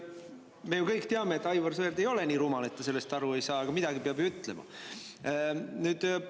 Me ju kõik teame, et Aivar Sõerd ei ole nii rumal, et te sellest aru ei saa, aga midagi peab ju ütlema.